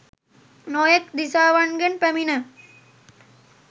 නොයෙක් දිසාවන්ගෙන් පැමිණ